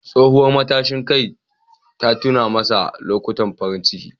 Tsohuwar matashin kai ta tuna masa lokutan farin ciki.